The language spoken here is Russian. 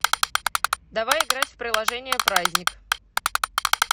давай играть в приложение праздник